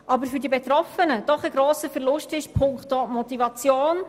Dies ist für die Betroffenen doch ein grosser Verlust punkto Motivation.